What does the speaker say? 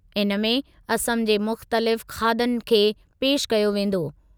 इनमें असम जे मुख़्तलिफ़ खाधनि खे पेशि कयो वेंदो।